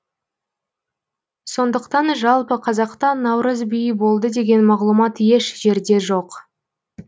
сондықтан жалпы қазақта наурыз биі болды деген мағлұмат еш жерде жоқ